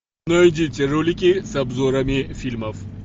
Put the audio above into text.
найдите ролики с обзорами фильмов